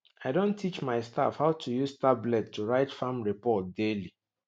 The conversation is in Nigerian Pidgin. i don teach my staff how to use tablet to write farm report daily